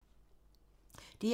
DR2